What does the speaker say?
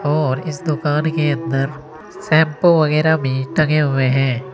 और इस दुकान के अंदर शैंपू वगैरा भी टंगे हुए हैं।